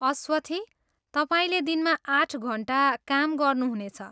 अस्वथी, तपाईँले दिनमा आठ घन्टा काम गर्नुहुनेछ।